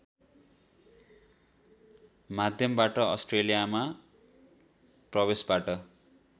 माध्यमबाट अस्ट्रेलियामा प्रवेशबाट